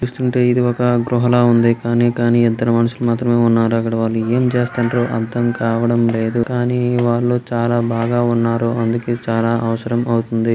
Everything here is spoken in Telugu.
చూస్తుంటే ఇది ఒక గృహ లా ఉంది. కానీ కానీ ఇద్దరు మనుషులు మాత్రమే ఉన్నారు. అక్కడ వాళ్ళు ఏం చేస్తున్రో అర్డంకావడం లేదు. కానీ వాళ్ళు చాలా బాగా ఉన్నారు. అందుకే అవసరం అవుతుంది.